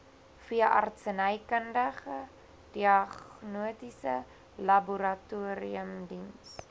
veeartsenykundige diagnostiese laboratoriumdiens